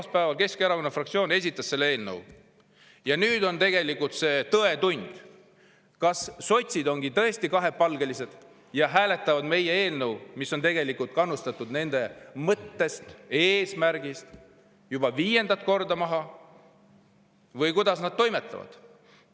Esmaspäeval Keskerakonna fraktsioon esitas selle eelnõu ja nüüd on tegelikult tõetund: kas sotsid ongi tõesti kahepalgelised ja hääletavad meie eelnõu, mis on kannustatud nende mõttest ja eesmärgist, juba viiendat korda maha, või kuidas nad toimetavad.